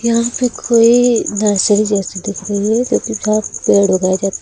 यहां पे कोई नर्सरी जैसा दिखाई दे रहा हैं तथा उसका पेड़ उगाया जाते--